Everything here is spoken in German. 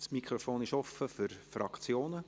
Das Mikrofon ist offen für die Fraktionen.